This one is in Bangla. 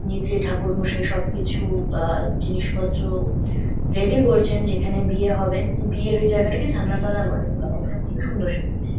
নীচে ঠাকুরমশাই সবকিছু বা জিনিসপত্র রেডি করছেন যেখানে বিয়ে হবে। বিয়ের ওই জায়গাটাকেই ছাদনাতলা বলে। খুবই সুন্দর সাজিয়েছে।